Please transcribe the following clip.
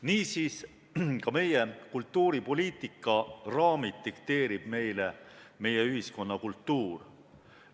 Niisiis, ka meie kultuuripoliitika raamid dikteerib meile meie ühiskonna kultuur.